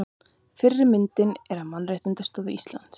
Fyrri myndin er af Mannréttindaskrifstofu Íslands.